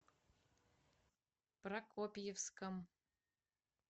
прокопьевском